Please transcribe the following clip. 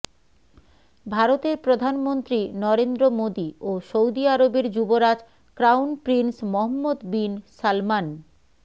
ভারতের প্রধানমন্ত্রী নরেন্দ্র মোদি ও সৌদি আরবের যুবরাজ crown prince Mohammed bin Salman